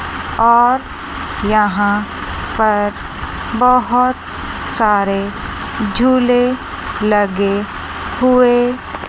और यहां पर बहोत सारे झूले लगे हुए--